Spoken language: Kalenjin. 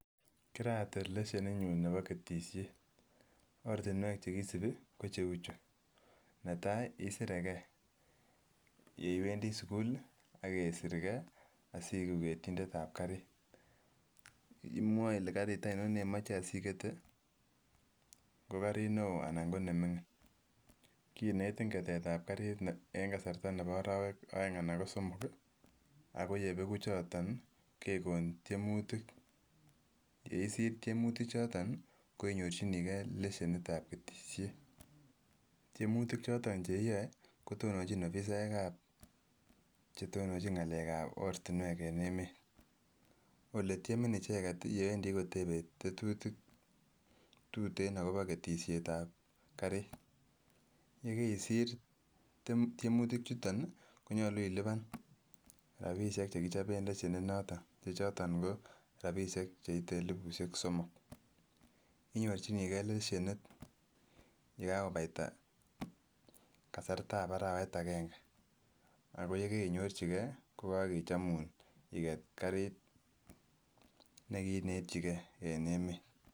Kiratil leshenin nyun nebo ketishet ortinwek chekisibi ko cheu, chu netai isire gee, yeiwendii sukul lii ak isir gee asiiku ketindet ab karit. Imwoe Ile karit oinon neimoche asiketet ko karit neo anan ko nemingin kinetin ketet ab karit en kasartab nebo orowek oeng Annan ko somok kii aK yebeku choton kekon tyemutik yeisir tyemutik choton ko inyorchinii gee leshenin ab ketishet tyemutik choton cheiyoe kotononchi ofisaek ab chetononchin ngalek ab ortinwek en emet ole tyemin icheket yewendii kotebe tetutik tuten akobo ketit ab karit yekeisir tyemutik choton ko nyolu ilipan rabishek chekichobe leshenin noton chechoton ko rabishek cheite elibushek somok. Inyorchinii gee leshenit yekakopata kasartab arawek agenge, ako yekoinyorchigee kokokechomun iket karit nekiinetyi gee en emet.